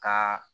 Ka